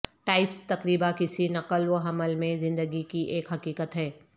types تقریبا کسی نقل و حمل میں زندگی کی ایک حقیقت ہے